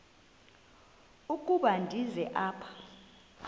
ukuba ndize apha